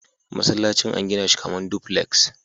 Masallacin an gina shi kamar duplex.